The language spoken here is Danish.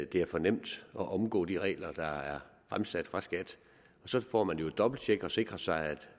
det er for nemt at omgå de regler der er fremsat af skat så får man jo et dobbelttjek og sikrer sig